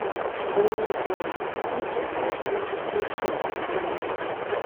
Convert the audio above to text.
ó ní a ò bá tìjà lọ sí tẹsán yẹn rárá